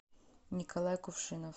николай кувшинов